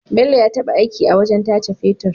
Bello ya taba aiki a wajan tace fetir